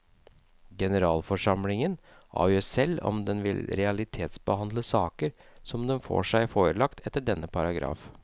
Generalforsamlingen avgjør selv om den vil realitetsbehandle saker som den får seg forelagt etter denne paragraf.